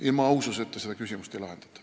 Ilma aususeta seda küsimust ei lahendata.